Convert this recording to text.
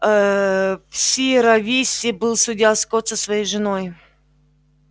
аа сиерра висте был судья скотт со своей женой